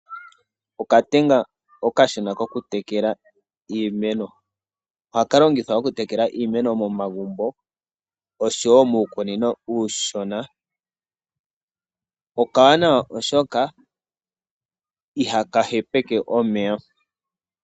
Okatenga okashona koku tekela iimeno. Oha ka longithwa oku tekela iimeno momagumbo oshowo muukunino uushona. Okawanawa oshoka iha ka hepeke omeya.